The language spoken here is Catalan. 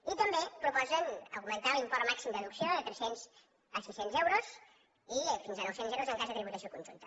i també proposen augmentar l’import màxim de deducció de tres cents a sis cents euros i fins a nou cents euros en cas de tributació conjunta